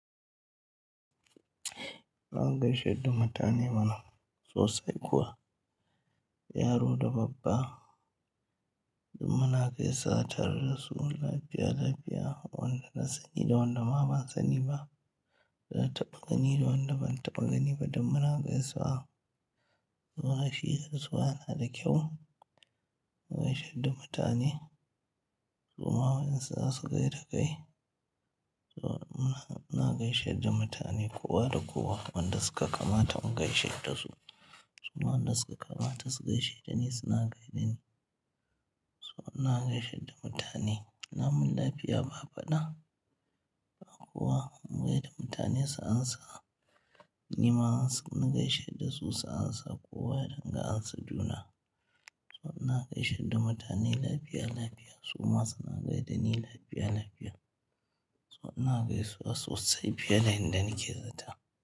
Ina gaishe da mutane bana sosai kuwa. Yaro da babba, dum mana gaisa tare da su lafiya, lafiya. Wanda na sani da wanda ma ban sani ba. Na taɓa gani da wanda ban taɓa gani ba duk muna gaisuwa. Zuwa shi gaisuwa na da kyau. Na gaishe da mutane, su ma in su za su gaida kai. So na, ina gaishe da mutane kowa da kowa wanda suka kamata in gaishe da su. Su ma wanda ya kamata su gaishe da ni suna gaishe da ni. So ina gaishe da mutane. Lamun lafiya ba faɗa ba kowa mu gaida mutane su ansa. Ni ma na gaishe da su su ansa kowa ya dinga ansa juna. So na gaishe da mutane lafiya, lafiya su ma suna gaida ni lafiya, lafiya. So na gaisuwa sosai fiye da inda nike zata.